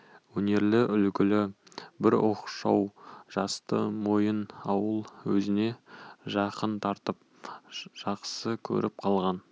өнерлі үлгілі бір оқшау жасты момын ауыл өзіне жақын тартып жақсы көріп қалған